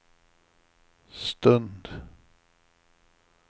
stund